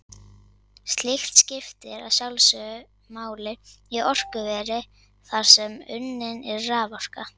Slíkt skiptir að sjálfsögðu máli í orkuveri þar sem unnin er raforka.